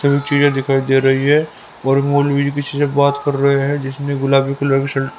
बहुत चीजे दिखाई दे रही है और मौलवी किसी से बात कर रहे हैं जिसे गुलाबी गुलाबी शर्ट --